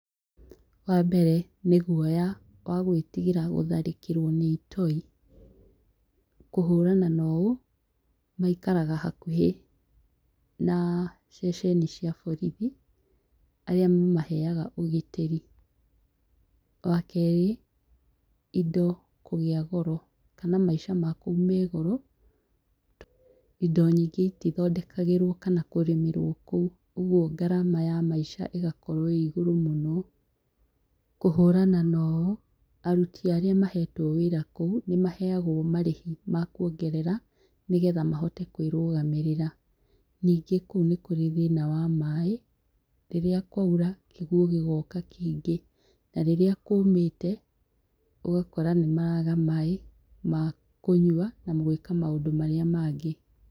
Wa mbere, nĩ guoya wa gwĩtigĩra gũtharĩkĩrwo nĩ itoi, kũhũrana na ũũ, maikaraga hakuhĩ na ceceni cia borithi arĩa mamaheaga ũgitĩri. Wa kerĩ, indo kũgĩa goro, kana maica ma kũu me goro. Indo nyingĩ itithondekagĩrwo kana kũrĩmĩrwo kũu, ũguo ngarama ya maica ĩgakorwo ĩ igũrũ mũno. Kũhũrana na ũũ, aruti arĩa mahetwo wĩira kũu, nĩ maheagwo marĩhi ma kũongerera nĩgetha mahote kwĩrũgamĩrĩra. Nyingĩ kũu nĩ kũrĩ thĩna wa maaĩ. Rĩrĩa kwaura, kĩguo gĩgoka kĩingĩ, na rĩrĩa kũũmĩte, ũgakora nĩ maraaga maaĩ ma kũnyua na gwĩka maũndũ marĩa mangĩ.